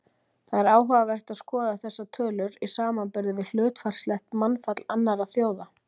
Það er áhugavert að skoða þessar tölur í samanburði við hlutfallslegt mannfall annarra þjóða.